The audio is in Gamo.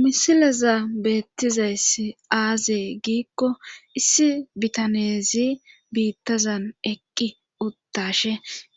Misilaza beettizayssi aaze giikko issi bitaneezi biittazan eqqi uttashe